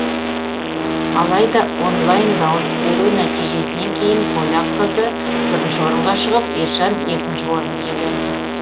алайда онлайн дауыс беру нәтижесінен кейін поляк қызы бірінші орынға шығып ержан екінші орынды иеленді